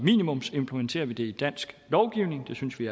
minimumsimplementerer vi det i dansk lovgivning det synes vi